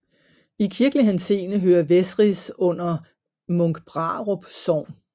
I kirkelig henseende hører Vesris under Munkbrarup Sogn